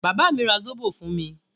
Bàbá mi ra Zobò fún mi.